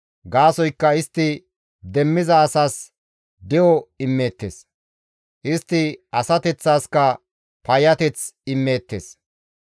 Gaasoykka istti demmiza asas de7o immeettes; istti asateththaska payyateth immeettes.